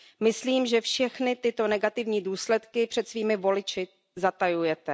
Myslím, že všechny tyto negativní důsledky před svými voliči zatajujete.